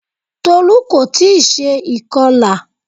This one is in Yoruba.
Tolú kò tí ì se ìkọlà